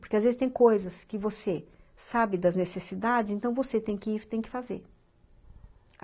Porque às vezes tem coisas que você sabe das necessidades, então você tem que ir e tem que fazer.